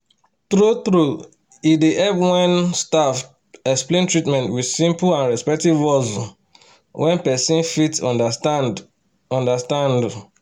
true-true e dey help when um staff explain treatment with simple and respectful words um wey person fit understand. understand. um